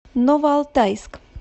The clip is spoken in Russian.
новоалтайск